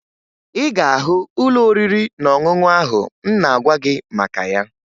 Ị ga-ahụ ụlọ oriri na ọṅụṅụ ahụ m na-agwa gị maka ya